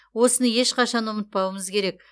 осыны ешқашан ұмытпауымыз керек